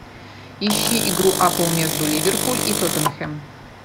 ищи игру апл между ливерпуль и тоттенхэм